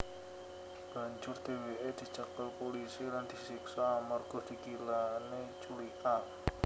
Banjur dhèwèké dicekel pulisi lan disiksa amerga dikirané culika